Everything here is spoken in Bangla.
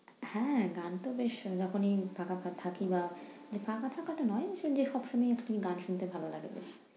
হ্যাঁ গান তো বেশ শোনার উপরেই থাকা থাকি বা থাকাটা নয় যে সবসময় গান শুনতে ভালো লাগে।